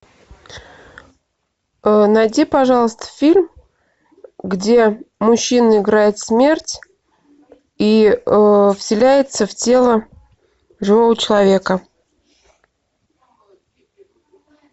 найди пожалуйста фильм где мужчина играет смерть и вселяется в тело живого человека